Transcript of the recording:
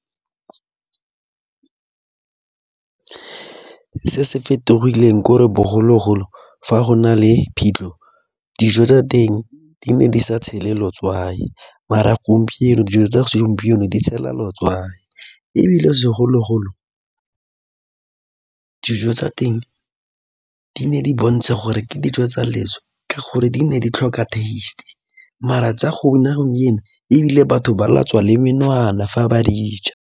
Se se fetogileng ke gore bogologolo fa go na le phitlho, dijo tsa teng di ne di sa tshelwe letswai mara gompieno, dijo tsa segompieno di tshelwa letswai ebile segologolo dijo tsa teng di ne di bontsha gore ke dijo tsa leso ka gore di ne di tlhoka taste mara tsa ebile batho ba latswa le menwana fa ba dij a.